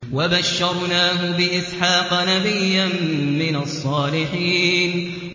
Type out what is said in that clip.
وَبَشَّرْنَاهُ بِإِسْحَاقَ نَبِيًّا مِّنَ الصَّالِحِينَ